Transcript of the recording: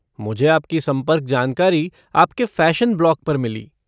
मुझे आपकी संपर्क जानकारी आपके फ़ैशन ब्लॉग पर मिली।